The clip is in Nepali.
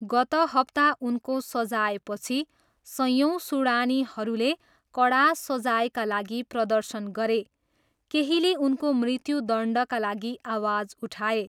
गत हप्ता उनको सजायपछि, सयौँ सुडानीहरूले कडा सजायका लागि प्रदर्शन गरे, केहीले उनको मृत्युदण्डका लागि आवाज उठाए।